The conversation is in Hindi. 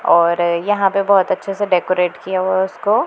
और यहां पे बहोत अच्छे से डेकोरेट किया हुआ है उसको।